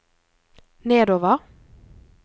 nedover